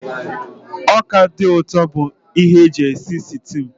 Ọka dị ụtọ bụ ihe eji esi sịtịụ